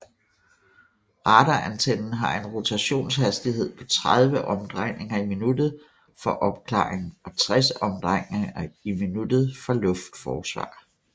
Radarantennen har en rotationshastighed på 30 omdrejninger i minuttet for opklaring og 60 omdrejninger i minuttet for luftforsvar